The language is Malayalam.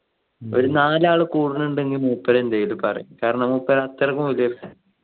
ഒരു നാലാള് കൂടുന്നുണ്ടെങ്കിൽ മൂപ്പര് എന്ത് ചെയ്തു പറയും കാരണം മൂപ്പര് അത്ര